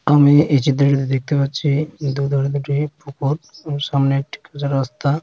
আমি এই চিত্রটিতে দেখতে পাচ্ছি দুধু রে দুটো ফকট | আর সামনে একটি কাঁচা রাস্তা।